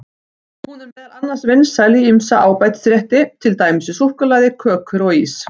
Hún er meðal annars vinsæl í ýmsa ábætisrétti, til dæmis í súkkulaði, kökur og ís.